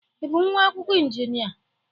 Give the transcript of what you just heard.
Ị bụ nwa akwụkwọ injịnịa?